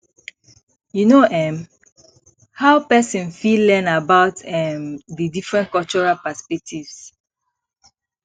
you know um how pesin fit learn about um di different cultural perspectives